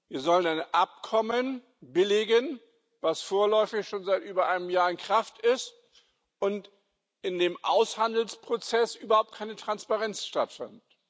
Wir sollen ein Abkommen billigen, das vorläufig schon seit über einem Jahr in Kraft ist und in dessen Aushandelsprozess überhaupt keine Transparenz stattfand.